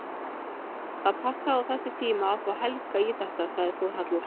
Það passaði á þessum tíma að fá Helga í þetta, sagði Þórhallur.